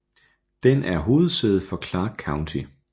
Den er hovedsæde for Clarke County